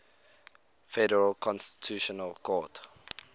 federal constitutional court